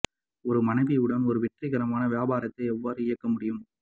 ஒரு மனைவி உடன் ஒரு வெற்றிகரமான வியாபாரத்தை எவ்வாறு இயக்க முடியும்